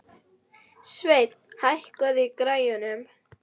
Sveinn, hækkaðu í græjunum.